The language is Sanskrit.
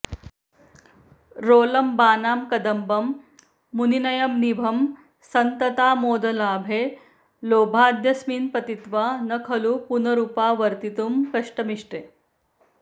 रोलम्बानां कदम्बं मुनिनयननिभं सन्ततामोदलाभे लोभाद्यस्मिन् पतित्वा न खलु पुनरुपावर्तितुं कष्टमीष्टे